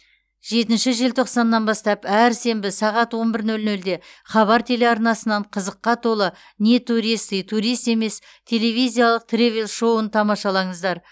жетінші желтоқсаннан бастап әр сенбі сағат он бір нөл нөлде хабар телеарнасынан қызыққа толы не туристы турист емес телевизиялық тревел шоуын тамашалаңыздар